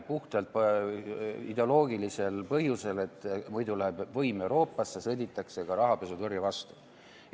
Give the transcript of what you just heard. Puhtalt ideoloogilisel põhjusel, et muidu läheb võim Euroopasse, sõditakse ka rahapesutõrje vastu.